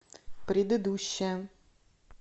предыдущая